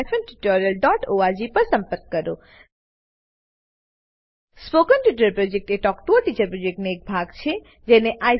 spoken tutorial project talk to a teacher પ્રોજેક્ટનો એક ભાગ છે